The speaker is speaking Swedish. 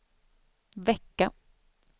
vecka